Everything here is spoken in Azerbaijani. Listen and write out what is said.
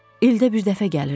İldə bir dəfə gəlirdi.